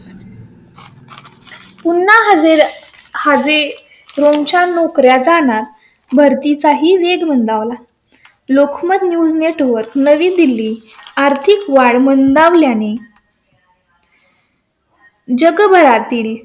पुन्हा जी रूम च्या नोकऱ्या जाणार पती चाही वेग मंदावला. लोकमत न्यूज नेटवर्क नवी दिल्ली आर्थिक वाढ मंदावल्या ने . जगभरातील.